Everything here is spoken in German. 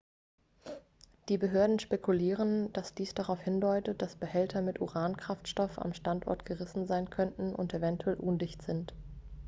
die behörden spekulieren dass dies darauf hindeutet dass behälter mit uran-kraftstoff am standort gerissen sein könnten und eventuell undicht sind